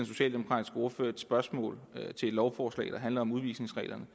socialdemokratiske ordfører et spørgsmål til et lovforslag der handler om udvisningsreglerne